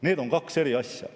Need on kaks eri asja.